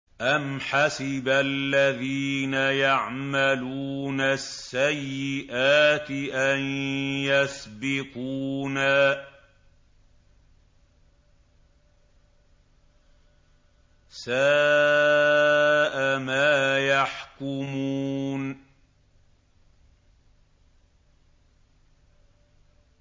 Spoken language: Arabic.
أَمْ حَسِبَ الَّذِينَ يَعْمَلُونَ السَّيِّئَاتِ أَن يَسْبِقُونَا ۚ سَاءَ مَا يَحْكُمُونَ